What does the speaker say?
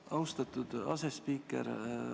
Austatud asespiiker!